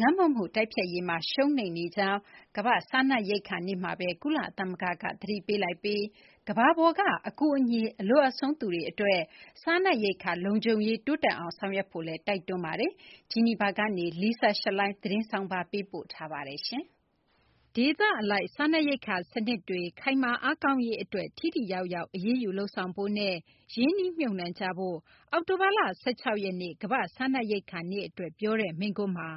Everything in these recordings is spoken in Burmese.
ငတ်မွတ်မှုတိုက်ဖျက်ရေးမှာ ရှုံးနိမ့်နေကြောင်း ကမ္ဘာ့စားနပ်ရိက္ခာနေ့မှာပဲ ကုလသမဂ္ဂက သတိပေးလိုက်ပြီး ကမ္ဘာပေါ်က အကူအညီ အလိုအပ်ဆုံးသူတွေအတွက် စားနပ်ရိက္ခာ လုံခြုံရေး တိုးတက်အောင် ဆောင်ရွက်ဖို့လည်း တိုက်တွန်းလိုက်ပါတယ်။ ဂျီနီဗာကနေ Lisa Schlein ပေးပို့တဲ့ သတင်းဆောင်းပါးကို မသိင်္ဂီထိုက် ပြောပြပေးပါမယ်။ ဒေသအလိုက် စားနပ်ရိက္ခာစနစ်တွေ ခိုင်မာအားကောင်းရေးအတွက် ထိထိရောက်ရောက် အရေးယူ လုပ်ဆောင်ဖို့နဲ့ ရင်းနှီးမြှုပ်နှံကြဖို့ အောက်တိုဘာလ ၁၆ ရက်နေ့ ကမ္ဘာ့စားနပ်ရိက္ခာနေ့အတွက် ပြောကြားတဲ့ မိန့်ခွန်းမှာ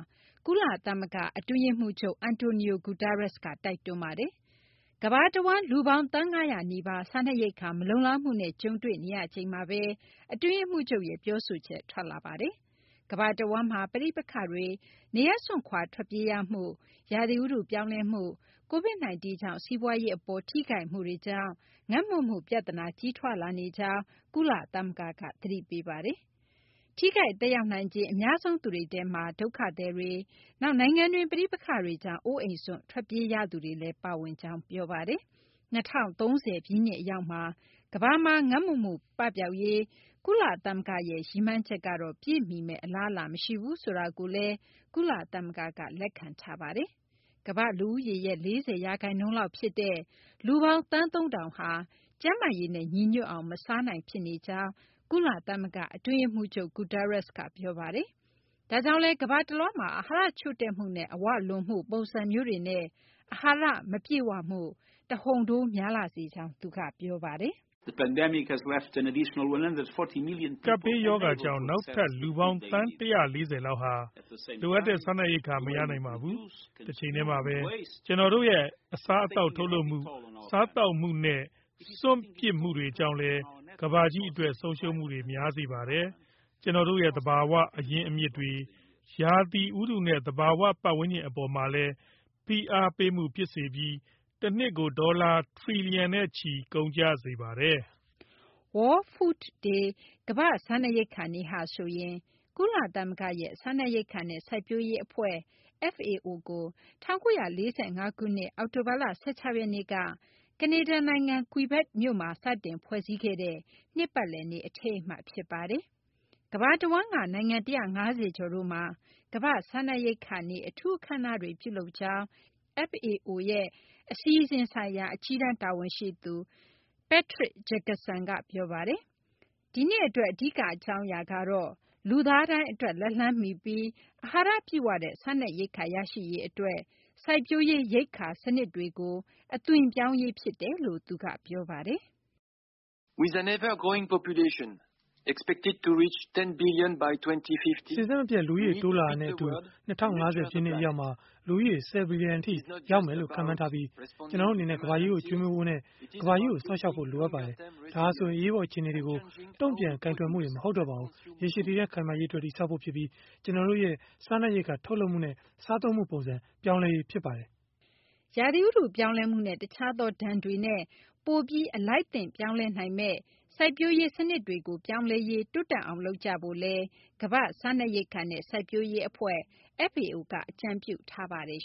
ကုလသမဂ္ဂ အတွင်းရေးမှူးချုပ် Antonio Guterres က တိုက်တွန်းပါတယ်။ ကမ္ဘာတဝန်း လူပေါင်း သန်း ၅၀၀ နီးပါး စားနပ်ရိက္ခာ မလုံလောက်မှုနဲ့ ကြုံတွေ့နေရချိန်မှာပဲ အတွင်းရေးမှူးချုပ်ရဲ့ ပြောဆိုချက် ထွက်ပေါ်လာတာပါ။ ကမ္ဘာတဝန်းမှာ ပဋိပက္ခတွေ၊ နေရပ်စွန့်ခွာ ထွက်ပြေးရမှု၊ ရာသီဥတု ပြောင်းလဲမှု၊ COVID-19 ကြောင့် စီးပွားရေးအပေါ် ထိခိုက်မှုတွေကြောင့် ငတ်မွတ်မှုပြဿနာ ကြီးထွားလာနေကြောင်း ကုလသမဂ္ဂက သတိပေးပါတယ်။ ထိခိုက်သက်ရောက်နိုင်ခြေ အများဆုံးသူတွေထဲမှာ ဒုက္ခသည်တွေ၊ နောက် နိုင်ငံတွင်းပဋိပက္ခတွေကြောင့် အိုးအိမ်စွန့် ထွက်ပြေးရသူတွေလည်း ပါဝင်ကြောင်း ပြောပါတယ်။ ၂၀၃၀ ပြည့်နှစ် အရောက်မှာ ကမ္ဘာမှာ ငတ်မွတ်မှုပပျောက်ရေး ကုလသမဂ္ဂရဲ့ ရည်မှန်းချက်ကတော့ ပြည့်မီမယ့်အလားအလာ မရှိဘူး ဆိုတာကိုလည်း ကုလသမဂ္ဂက လက်ခံထားပါတယ်။ ကမ္ဘာ့လူဦးရေရဲ့ ၄၀ ရာခိုင်နှုန်းလောက်ဖြစ်တဲ့ လူပေါင်း သန်း ၃,၀၀၀ ဟာ ကျန်းမာရေးနဲ့ ညီညွတ်အောင် မစားနိုင်ဖြစ်နေကြောင်း ကုလသမဂ္ဂ အတွင်းရေးမှူးချုပ် Gutteres က ပြောပါတယ်။ ဒါကြောင့်လည်း ကမ္ဘာတလွှားမှာ အာဟာရချို့တဲ့မှုနဲ့ အဝလွန်မှု ပုံစံမျိုးတွေနဲ့ အာဟာရမပြည့်ဝမှု တဟုန်ထိုး များလာစေကြောင်းလည်း သူက ပြောပါတယ်။ “ကပ်ဘေးရောဂါကြောင့် နောက်ထပ် လူပေါင်း သန်း ၁၄၀ လောက်ဟာ လိုအပ်တဲ့ စားနပ်ရိက္ခာ မရနိုင် ဖြစ်စေပါတယ်။ တချိန်တည်းမှာပဲ ကျနော်တို့ရဲ့ အစားအသောက် ထုတ်လုပ်မှု၊ စားသုံးမှုနဲ့ စွန့်ပစ်မှုတွေကြောင့်လည်း ကမ္ဘာကြီးအတွက် ဆုံးရှုံးမှု များစေပါတယ်။ ကျနော်တို့ရဲ့ သဘာဝအရင်းအမြစ်တွေ၊ ရာသီဥတုနဲ့ သဘာဝပတ်ဝန်းကျင် အပေါ်မှာလည်း ဖိအားပေးမှု ဖြစ်စေပြီး တနှစ်ကို ဒေါ်လာ ထရီလျံနဲ့ချီ ကုန်ကျစေပါတယ်။” World Food Day - ကမ္ဘာ့စားနပ်ရိက္ခာနေ့ဟာဆိုရင် ကုလသမဂ္ဂရဲ့ စားနပ်ရိက္ခာနဲ့ စိုက်ပျိုးရေးအဖွဲ့ (FAO) ကို ၁၉၄၅ ခုနှစ် အောက်တိုဘာလ ၁၆ ရက်နေ့က ကနေဒါနိုင်ငံ Quebec မြို့မှာ စတင်ဖွဲ့စည်းခဲ့တဲ့ နှစ်ပတ်လည်နေ့ အထိမ်းအမှတ် ဖြစ်ပါတယ်။ ကမ္ဘာတဝန်းက နိုင်ငံ ၁၅၀ ကျော်တို့မှာ ကမ္ဘာ့စားနပ်ရိက္ခာနေ့ အထူးအခမ်းအနားတွေ ပြုလုပ်ကြကြောင်း FAO ရဲ့ အစီအစဉ်ဆိုင်ရာ အကြီးတန်းတာဝန်ရှိသူ Patrick Jacqueson က ပြောပါတယ်။ ဒီနှစ်အတွက် အဓိက အကြောင်းအရာကတော့ လူသားတိုင်းအတွက် လက်လှမ်းမီပြီး အာဟာရပြည့်ဝတဲ့ စားနပ်ရိက္ခာ ရရှိရေးအတွက် စိုက်ပျိုးရေး ရိက္ခာစနစ်တွေကို အသွင်ပြောင်းရေး ဖြစ်တယ်လို့လည်း သူက ပြောပါတယ်။ “စဉ်ဆက်မပြတ် လူဦးရေ တိုးလာနေတာနဲ့အတူ ၂၀၅၀ ပြည့်နှစ်အရောက်မှာ လူဦးရေ ၁၀ ဘီလျံထိ ရောက်မယ်လို့ ခန့်မှန်းထားပြီး ကျနော်တို့အနေနဲ့ ကမ္ဘာကြီးကို ကျွေးမွေးဖို့နဲ့ ကမ္ဘာကြီးကို စောင့်ရှောက်ဖို့ လိုအပ်ပါတယ်။ ဒါဟာဆိုရင် အရေးပေါ် အခြေအနေတွေကို တုံ့ပြန်ကိုင်တွယ်မှုတင် မဟုတ်တော့ပါဘူး။ ရေရှည်တည်တံ့ ခိုင်မာရေးအတွက် တည်ဆောက်ဖို့ဖြစ်ပြီး ကျနော်တို့ရဲ့ စားနပ်ရိက္ခာ ထုတ်လုပ်မှုနဲ့ စားသုံးမှုပုံစံ ပြောင်းလဲရေး ဖြစ်ပါတယ်။” ရာသီဥတု ပြောင်းလဲမှုနဲ့ တခြားသော ဒဏ်တွေနဲ့ ပိုပြီး အလိုက်သင့် ပြောင်းလဲနိုင်မယ့် စိုက်ပျိုးရေးစနစ်တွေကို ပြောင်းလဲရေး တိုးတက်အောင် လုပ်ကြဖို့လည်း ကမ္ဘာ့စားနပ်ရိက္ခာနဲ့ စိုက်ပျိုးရေးအဖွဲ့ (FAO) က အကြံပြုထားပါတယ်